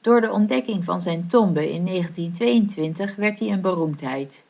door de ontdekking van zijn tombe in 1922 werd hij een beroemdheid